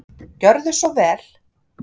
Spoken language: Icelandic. Gjörðu svo vel.